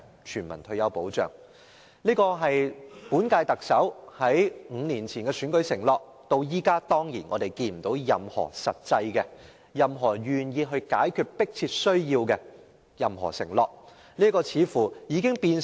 全民退休保障是本屆特首5年前的選舉承諾，但至今他卻沒有作出任何願意解決這個迫切需要的實際承諾。